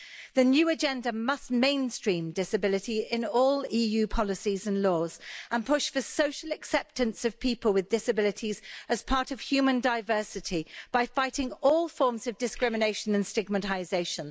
The new agenda must mainstream disability in all EU policies and laws and push for social acceptance of people with disabilities as part of human diversity by fighting all forms of discrimination and stigmatisation.